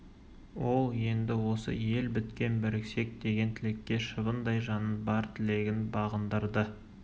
ол енді осы ел біткен біріксек деген тілекке шыбындай жанын бар тілегін бағындырды